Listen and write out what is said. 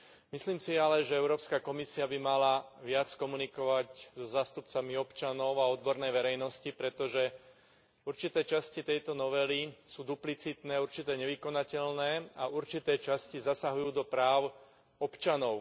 Myslím si ale, že Európska komisia by mala viac komunikovať so zástupcami občanov a odbornej verejnosti, pretože určité časti tejto novely sú duplicitné, určité nevykonateľné a v určitej časti zasahujú do práv občanov.